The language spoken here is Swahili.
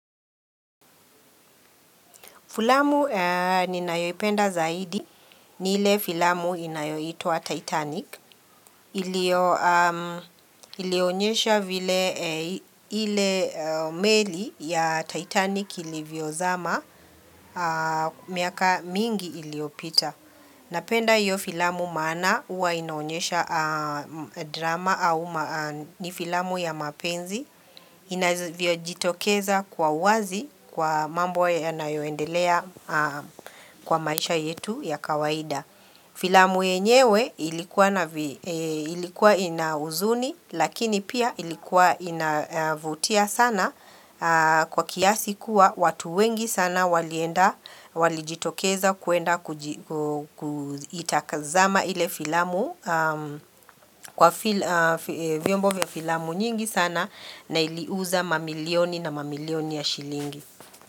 Filamu ni nayoipenda zaidi ni ile filamu inayoitwa Titanic. Ilionyesha vile ile meli ya Titanic ilivyo zama miaka mingi iliopita. Napenda hiyo filamu maana huwa inaonyesha drama au ni filamu ya mapenzi. Inavyojitokeza kwa uwazi kwa mambo ya yayoendelea kwa maisha yetu ya kawaida filamu yenyewe ilikuwa ina huzuni lakini pia ilikuwa inavutia sana kwa kiasi kuwa watu wengi sana walienda walijitokeza kuenda kuitazama ile filamu kwa vyombo vya filamu nyingi sana na iliuza mamilioni na mamilioni ya shilingi.